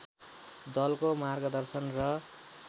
दलको मार्गदर्शन र